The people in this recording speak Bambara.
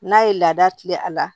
N'a ye laada tila a la